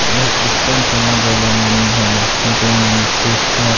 ये क्रिस्चियन समाज वाले मन हे जे मन क्रिसमस --